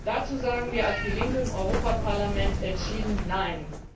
Dazu sagen wir als die Linke im Europäischen Parlament entschieden Nein!